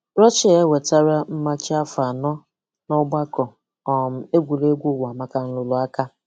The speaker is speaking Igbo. Russia e nwetala mmachi afọ anọ na ọgbakọ um egwuregwu ụwa maka nrụrụaka.